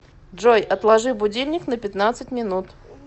джой отложи будильник на пятнадцать минут